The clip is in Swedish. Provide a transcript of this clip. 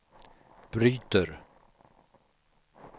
bryter